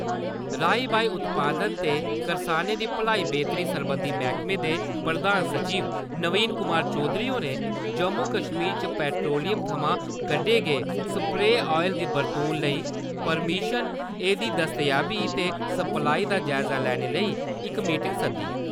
राई-बाई उत्पादन ते करसानें दी भलाई बेह्‌तरी सरबंधी मैह्‌कमें दे प्रधान सचिव नवीन कुमार चौधरी होरें जम्मू-कश्मीर च पैट्रोलियम थमां कड्ढे गे सप्रे आयल दी बरतून लेई परमिशन, एह्दी दस्तयाबी ते सप्लाई दा जायजा लैने लेई इक मीटिंग सद्दी।